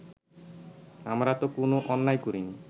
আমরা তো কোনো অন্যায় করিনি